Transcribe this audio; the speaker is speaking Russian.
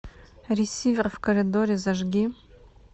ресивер в коридоре зажги